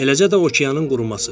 Eləcə də okeanın quruması.